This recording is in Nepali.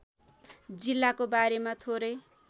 जिल्लाको बारेमा थोरै